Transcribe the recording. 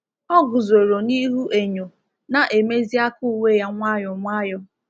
Ọ guzoro n’ihu enyo, na-emezi aka uwe ya nwayọ nwayọ.